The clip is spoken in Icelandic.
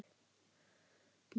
Marín Björk.